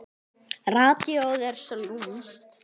Radíóið er svo lúmskt.